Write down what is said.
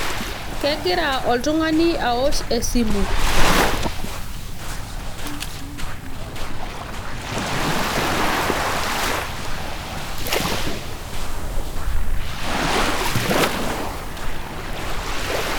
Kegira oltungani aosh esimu